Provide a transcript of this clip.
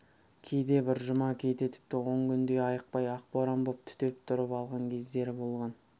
кейде бір жұма кейде тіпті он күндей айықпай ақ боран боп түтеп тұрып алған кездері болған